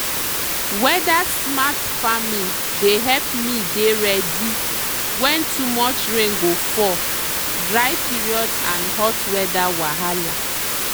weather-smart farming dey help me dey ready when too much rain go fall dry period and hot weather wahala.